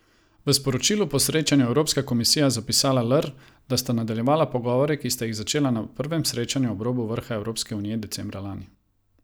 V sporočilu po srečanju je Evropska komisija zapisala lr, da sta nadaljevala pogovore, ki sta jih začela na prvem srečanju ob robu vrha Evropske unije decembra lani.